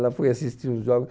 Ela foi assistir uns jogos.